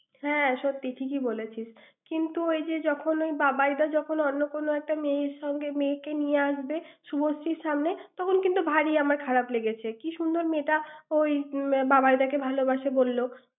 হ্যাঁ সত্যি। ঠিকই বলছিস। কিন্তু ওই যে যখন ওই বাবাই দা যখন অন্য কোনও একটা মেয়ের সঙ্গ্যে, মেয়েকে নিয়ে আসবে, শুভশ্রীর সামনে, তখন কিন্তু ভারী আমার খারাপ লেগেছে। কী সুন্দর মেয়েটা ওই আম~ বাবাই দাকে ভালবাসে বলল।